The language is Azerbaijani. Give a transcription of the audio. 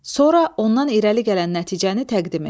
Sonra ondan irəli gələn nəticəni təqdim et.